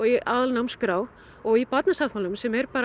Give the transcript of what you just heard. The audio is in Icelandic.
í aðalnámskrá og í Barnasáttmálanum sem er